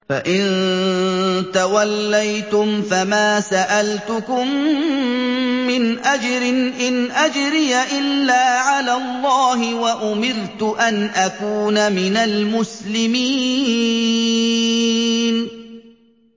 فَإِن تَوَلَّيْتُمْ فَمَا سَأَلْتُكُم مِّنْ أَجْرٍ ۖ إِنْ أَجْرِيَ إِلَّا عَلَى اللَّهِ ۖ وَأُمِرْتُ أَنْ أَكُونَ مِنَ الْمُسْلِمِينَ